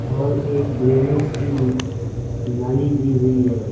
और एक ड्रेनेज की ल नली दी हुई है।